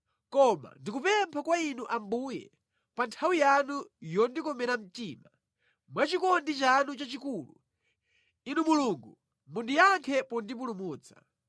Koma ndikupempha kwa Inu Ambuye, pa nthawi yanu yondikomera mtima; mwa chikondi chanu chachikulu Inu Mulungu, mundiyankhe pondipulumutsa.